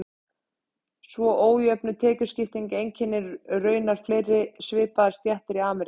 Svo ójöfn tekjuskipting einkennir raunar fleiri svipaðar stéttir í Ameríku.